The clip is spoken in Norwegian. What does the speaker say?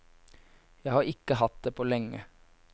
Jeg har ikke hatt det på lenge.